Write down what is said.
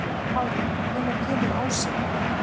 Pála, hvenær kemur ásinn?